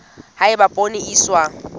ha eba poone e iswa